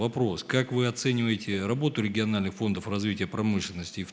вопрос как вы оцениваете работу региональных фондов развития промышленности и